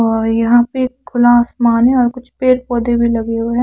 अ यहा पे एक खुला आसमान है और कुछ पेड़ पोधे भी लगे हुए है ।